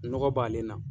Nɔgɔ b'ale la